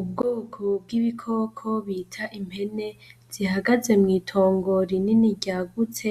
Ubwoko bw'ibikoko bita impene zihagaze mw'itongo rinini ryagutse,